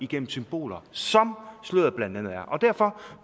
gennem symboler som sløret blandt andet er derfor